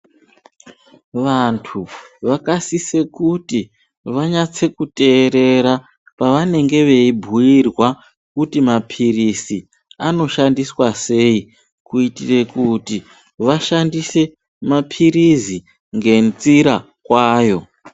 Vantu vakasise kuti vanyatsoterera pavanenge veibhuyirwa kuti mapirizi anoshandiswa sei kuitire kuti vashandise mapirizi ngenzira kwayo .